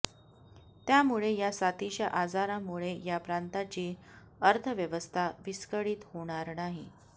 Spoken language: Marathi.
त्यामुळे या साथीच्या आजारामुळे या प्रांतांची अर्थव्यवस्था विस्कळीत होणार नाही